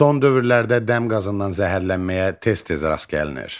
Son dövrlərdə dəm qazından zəhərlənməyə tez-tez rast gəlinir.